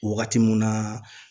Wagati mun na